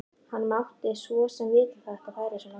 Hann mátti svo sem vita að þetta færi svona.